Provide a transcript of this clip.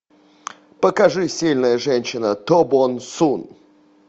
покажи сильная женщина то бон сун